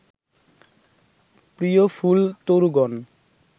প্রিয় ফুলতরুগণ